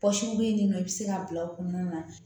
bɛ yen nin nɔ i bɛ se k'a bila o kɔnɔna na